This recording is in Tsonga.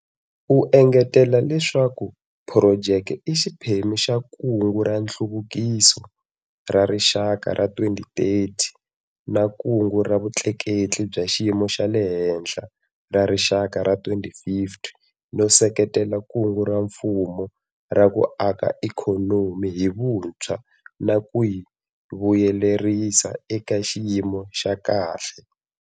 U engetela leswaku phurojeke i xiphemu xa Kungu ra Nhluvukiso ra Rixaka ra 2030 na Kungu ra Vutleketli bya Xiyimo xa le Henhla ra Rixaka ra 2050 no seketela Kungu ra Mfumo ra ku Aka Ikhonomi hi Vuntshwa na ku yi Vuyelerisa eka xiyimo xa kahle.